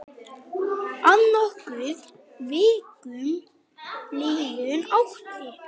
Að nokkrum vikum liðnum átti